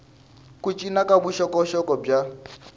ku cinca ka vuxokoxoko bya